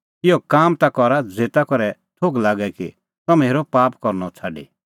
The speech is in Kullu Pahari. इहै काम ता करा ज़ेता करै थोघ लागे कि तम्हैं हेरअ पाप करनअ छ़ाडी